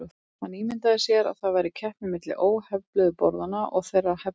Hann ímyndaði sér að það væri keppni milli óhefluðu borðanna og þeirra hefluðu.